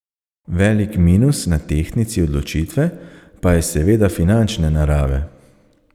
Velik minus na tehtnici odločitve pa je seveda finančne narave.